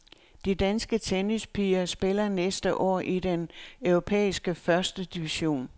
De danske tennispiger spiller næste år i den europæiske første division.